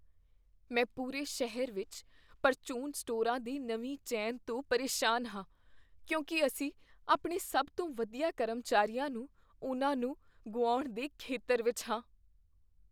ਮੈਂ ਪੂਰੇ ਸ਼ਹਿਰ ਵਿੱਚ ਪ੍ਰਚੂਨ ਸਟੋਰਾਂ ਦੀ ਨਵੀਂ ਚੇਨ ਤੋਂ ਪਰੇਸ਼ਾਨ ਹਾਂ, ਕਿਉਂਕਿ ਅਸੀਂ ਆਪਣੇ ਸਭ ਤੋਂ ਵਧੀਆ ਕਰਮਚਾਰੀਆਂ ਨੂੰ ਉਹਨਾਂ ਨੂੰ ਗੁਆਉਣ ਦੇ ਖ਼ਤਰੇ ਵਿੱਚ ਹਾਂ।